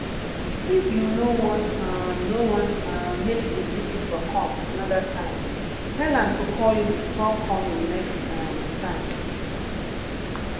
if you no want um no want um make di visitor come another time tell am to call you before coming next um time